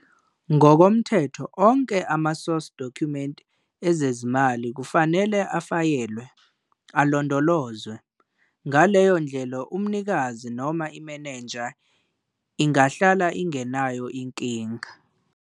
Ngokomthetho onke ama-source document ezezimali kufanele afayelwe alondolozwe - ngaleyo ndlela umnikazi noma imeneja ingahlala ingenayo inkinga.